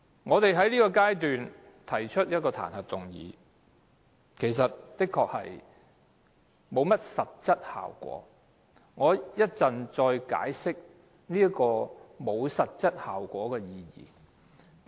我們在這階段提出彈劾議案，的確不會有實質效果，我稍後再解釋為何沒有實質效果。